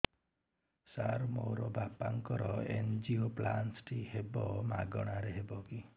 ସାର ମୋର ବାପାଙ୍କର ଏନଜିଓପ୍ଳାସଟି ହେବ ମାଗଣା ରେ ହେବ କି